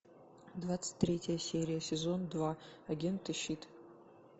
двадцать третья серия сезон два агенты щит